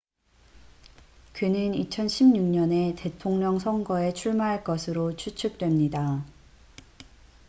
그는 2016년에 대통령 선거에 출마할 것으로 추측됩니다